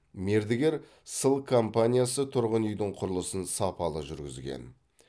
мердігер сыл компаниясы тұрғын үйдің құрылысын сапалы жүргізген